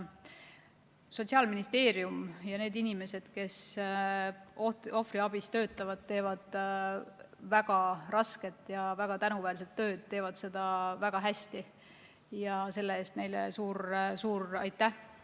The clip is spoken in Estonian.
Sotsiaalministeerium ja need inimesed, kes ohvriabis töötavad, teevad väga rasket ja tänuväärset tööd, teevad seda väga hästi ja selle eest neile suur-suur aitäh.